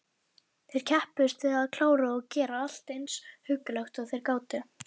Þeir kepptust við að klára og gera allt eins huggulegt og þeir gátu.